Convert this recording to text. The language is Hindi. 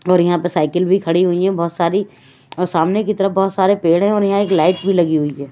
और यहां पे साइकिल भी खड़ी हुई है बोहोत सारी और सामने की तरफ बहोत सारे पेड़ है और यहां एक लाइट भी लगी हुई है।